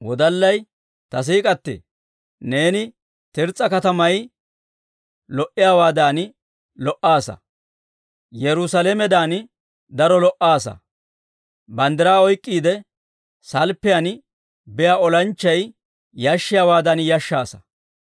Ta siik'k'atee! Neeni Tirs's'a katamay lo"iyaawaadan lo"aasa; Yerusaalamedan daro lo"aasa; banddiraa oyk'k'iide, salppiyaan biyaa olanchchay yashshiyaawaadan yashshaasa.